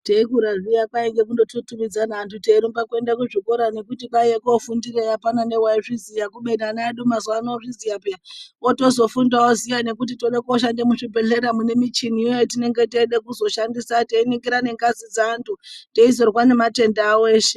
Teikura zviya kwainge kootutumidzana antu teirumba kuenda kuzvikora nekuti kwaiya koofundireyi hapana newaizviziya. Kubeni ana edu mazuva ano ozviziya peya otozofundawo oziya nekuti toda kunoshande kuzvibhedhlera. mune michiniyo yetinenge teida kuzoshandisa teiningira nengazi dzeantu, teizorwa ngematenda avo eshe.